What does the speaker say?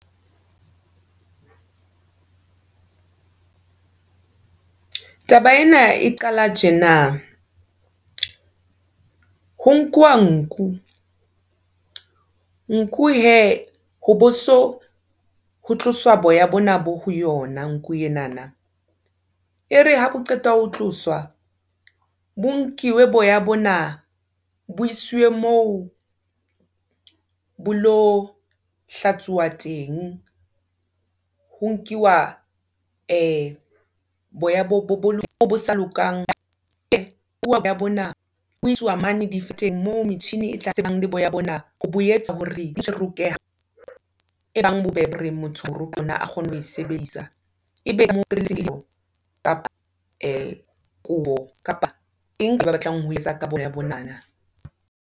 Taba ena e qala tjena, ho nkuwa nku nku he ho bo so ho tloswa boya bona bo ho yona nku enana, e re ha bo qeta ho tloswa, bo nkiwe boya bona, bo isiwe moo bo lo hlatsuwa teng. Ho nkiwa boya bo sa lokang moo metjhini e tla tsebang kapa kapa eng ke ba batlang ho etsa ka boya bonana.